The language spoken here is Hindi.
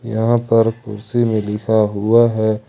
यहां पर कुर्सी मे लिखा हुआ है।